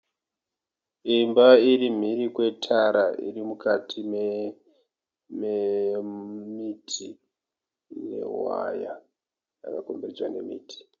Imba iri mhiri kwetara iri mukati memiti mewaya yakakomberedzwa nemiti.